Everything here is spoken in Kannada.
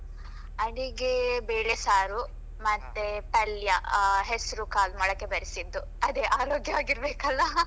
ಅಡಿಗೆ ಬೆಳೆ ಸಾರು ಮತ್ತೆ ಪಲ್ಯ ಹೆಸ್ರು ಕಾಳು ಮೊಳಕೆ ಬೆರಿಸಿದ್ದು ಅದೇ ಆರೋಗ್ಯವಾಗಿ ಇರ್ಬೇಕಲ್ವಾ .